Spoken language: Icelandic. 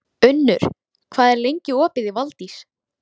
Unnur, hvað er lengi opið í Valdís?